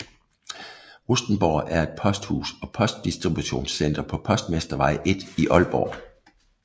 Rustenborg er et posthus og postdistributionscenter på Postmestervej 1 i Aalborg